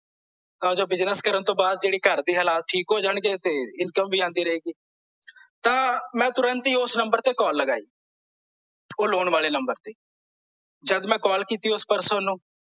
ਤਾਂ ਜੋ business ਕਰਨ ਤੋਂ ਬਾਅਦ ਜਾਨੀ ਘਰਦੇ ਹਲਾਤ ਠੀਕ ਹੋ ਜਾਣਗੇ ਤੇ income ਵੀ ਆਂਦੀ ਰਹੇਗੀ ਤਾਂ ਮੈਂ ਤੁਰੰਤ ਹੀ ਓਸ ਨੰਬਰ ਤੇ ਕਾਲ ਲਗਾਈ ਓਹ ਲੋਨ ਵਾਲੇ ਨੰਬਰ ਤੇ ਜਦ ਮੈਂ ਕਾਲਲ ਕੀਤੀ ਓਸ person ਨੂੰ